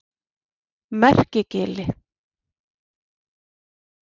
Merkigili